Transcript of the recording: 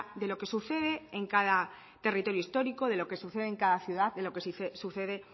de lo que sucede en cada territorio histórico de lo que sucede en cada ciudad de lo que sucede